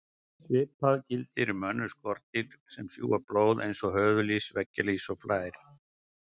Svipað gildir um önnur skordýr sem sjúga blóð eins og höfuðlýs, veggjalýs og flær.